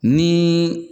Ni